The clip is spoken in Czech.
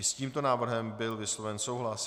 I s tímto návrhem byl vysloven souhlas.